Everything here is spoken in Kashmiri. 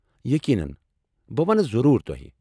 یقینن ، بہٕ ونہٕ ضروُر تو٘ہہِ ۔